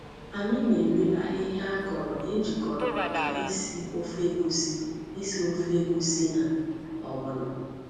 Anyị na-ere ahịhịa akọrọ ejikọrọ maka isi ofe egusi isi ofe egusi na ogbono.